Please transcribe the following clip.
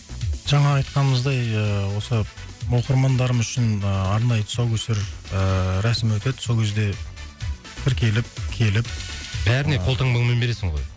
жаңағы айтқанымыздай ыыы осы оқырмандарымыз үшін ыыы арнайы тұсаукесер ыыы рәсімі өтеді сол кезде тіркеліп келіп ы бәріне қолтаңбамен бересің ғой